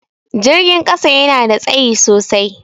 Jirgin ƙasa yana da tsayi sosai.